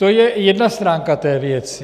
To je jedna stránka té věci.